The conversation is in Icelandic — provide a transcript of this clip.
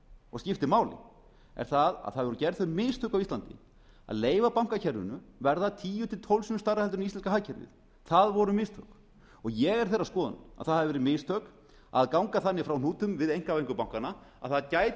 og skiptir máli er að það voru gerð þau mistök á íslandi að leyfa bankakerfinu að verða tíu til tólf sinnum stærra heldur en íslenska hagkerfið það voru mistök ég er þeirrar skoðunar að það hafi verið mistök að ganga þannig frá hnútum við einkavæðingu bankanna að það gæti